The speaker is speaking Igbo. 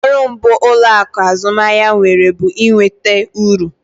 Ọrụ mbụ ụlọaku azụmahịa nwere bụ ị nweta uru